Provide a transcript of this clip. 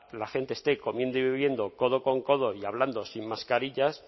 la gente esté comiendo y viviendo codo con codo y hablando sin mascarillas